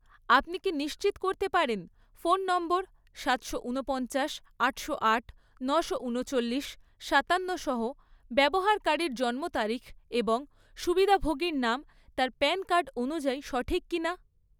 আপনি কি নিশ্চিত করতে পারেন ফোন নম্বর সাতশো উনপঞ্চাশ, আটশো আট, নশো উনচল্লিশ, সাতান্নসহ ব্যবহারকারীর জন্মতারিখ এবং সুবিধাভোগীর নাম তার প্যান কার্ড অনুযায়ী সঠিক কিনা?